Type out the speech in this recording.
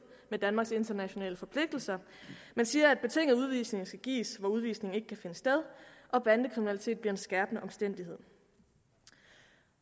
med danmarks internationale forpligtelser man siger at betinget udvisning skal gives hvor udvisning ikke kan finde sted og bandekriminalitet bliver en skærpende omstændighed